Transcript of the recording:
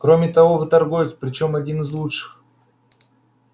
кроме того вы торговец причём один из лучших